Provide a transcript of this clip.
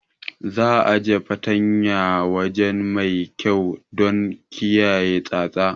Za'a ajiye fartanyar a waje mai kyau don kiyaye tsatsa.